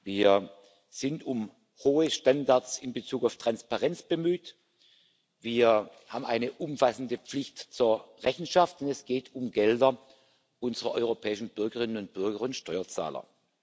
Wir sind um hohe Standards in Bezug auf Transparenz bemüht, wir haben eine umfassende Pflicht zur Rechenschaft, und es geht um Gelder unserer europäischen Bürgerinnen und Bürger und Steuerzahler.